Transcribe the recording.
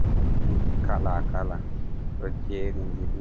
Turmiji kala kala-kala, ɗo jerindiri ,